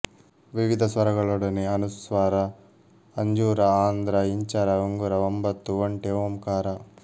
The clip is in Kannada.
ವಿವಿಧ ಸ್ವರಗಳೊಡನೆ ಅನುಸ್ವಾರ ಅಂಜೂರ ಆಂಧ್ರ ಇಂಚರ ಉಂಗುರ ಎಂಬತ್ತು ಒಂಟೆ ಓಂಕಾರ